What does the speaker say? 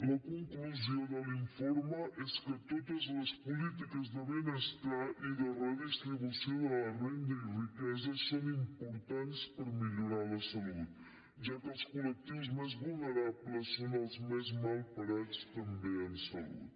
la conclusió de l’informe és que totes les polítiques de benestar i de redistribució de la renda i riquesa són importants per millorar la salut ja que els col·lectius més vulnerables són els més mal parats també en salut